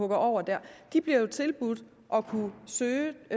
det over dér de bliver jo tilbudt at kunne søge